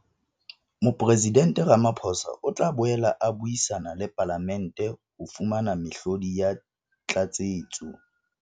Mopresidente Ramaphosa o tla boela a buisana le Palamente ho fumana mehlodi ya tlatsetso.